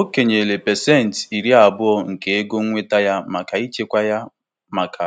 Ebumnuche ya bụ ichekwa ma ọ dịkarịa pasentị iri um ise na-ego ọ na-enweta kwa afọ, maka